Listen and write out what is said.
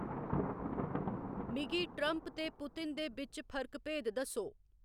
मिगी ट्रंप ते पुतिन दे बिच्च फर्क भेद दस्सो